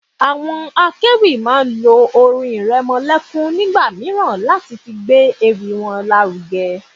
Àwọn akéwì máa ń lo orin iremolekun nígbà mìíràn láti fi gbé ewì wọn lárugẹ.